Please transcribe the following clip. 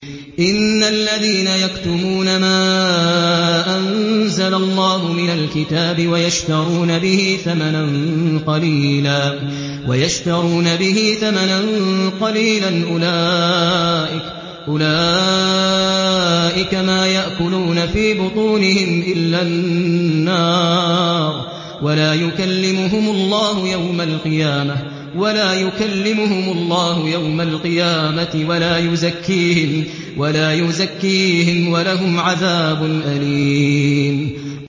إِنَّ الَّذِينَ يَكْتُمُونَ مَا أَنزَلَ اللَّهُ مِنَ الْكِتَابِ وَيَشْتَرُونَ بِهِ ثَمَنًا قَلِيلًا ۙ أُولَٰئِكَ مَا يَأْكُلُونَ فِي بُطُونِهِمْ إِلَّا النَّارَ وَلَا يُكَلِّمُهُمُ اللَّهُ يَوْمَ الْقِيَامَةِ وَلَا يُزَكِّيهِمْ وَلَهُمْ عَذَابٌ أَلِيمٌ